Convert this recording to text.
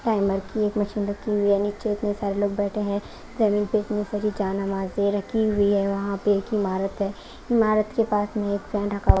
timer की एक machine रखी हुई है नीचे इतने सारे लोग बैठे हैं जमीन पे इतनी सारी जहां नमाज़े रखी हुई हैं वहाँ पे एक ईमारत है ईमारत के पास में एक फैन रखा हु --